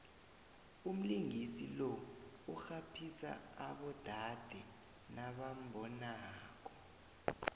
umlingisi lo urhaphisa abodade nabambonako